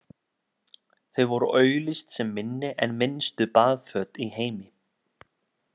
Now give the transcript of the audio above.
Þau voru auglýst sem minni en minnstu baðföt í heimi.